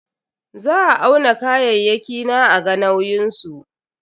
Za a auna kayayyaki na a ga nauyin su.